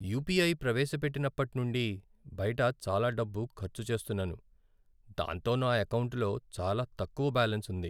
UPI ప్రవేశపెట్టినప్పటి నుండి, బయట చాలా డబ్బు ఖర్చు చేస్తున్నాను, దాంతో నా ఎకౌంటులో చాలా తక్కువ బ్యాలెన్స్ ఉంది.